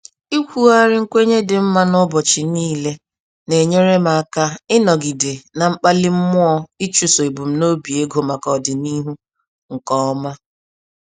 Ikwugharị nkwenye dị mma n'ụbọchị niile, na-enyere m aka ịnọgide na mkpali mmụọ ichụso ebum nobi ego maka ọdịnihu, nkè ọma.